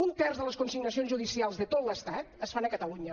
un terç de les consignacions judicials de tot l’estat es fan a catalunya